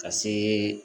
Ka see